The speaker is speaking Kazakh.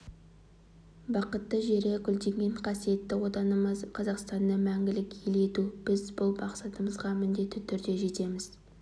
бақытты жері гүлденген қасиетті отанымыз қазақстанды мәңгілік ел ету біз бұл мақсатымызға міндетті түрде жетеміз